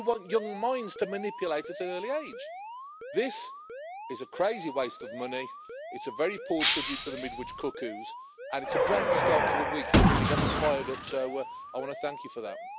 You want young minds to manipulate at an early age. This is a crazy waste of money, it is a very poor tribute to The Midwich Cuckoos and it is a great start to the week you have really got me fired up, so I want to thank you for that.